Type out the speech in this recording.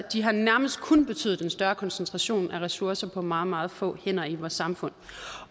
nærmest kun betydet en større koncentration af ressourcer på meget meget få hænder i vores samfund